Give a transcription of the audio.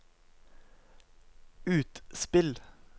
utspill